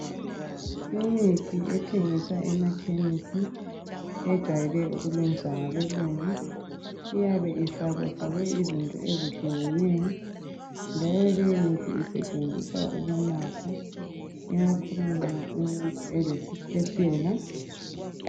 Imithi ethengiswa emakhemisi. Ejwayelwe ukulungiswa ngabeLungu. Iyabe ifakwafakwe izinto ezehlukeneyo, njalo leyimithi isetshenziswa kakhulu, ukunatha. Ikakhulu nxa umuntu elesikhwehlela.